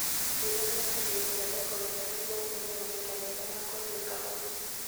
Twĩrania na bei cia thoko wega nĩguo ũmenye mahinda mega ma kwendia kahũa